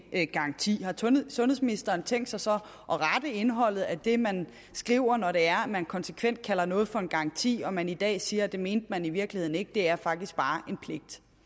garanti har sundhedsministeren tænkt sig så at rette indholdet af det man skriver når det er at man konsekvent kalder noget for en garanti og man i dag siger at det mente man i virkeligheden ikke for det er faktisk bare